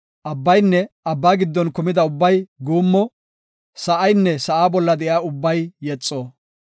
Abbaynne abba giddon kumida ubbay guummo; Sa7aynne sa7aa bolla de7iya ubbay yexo.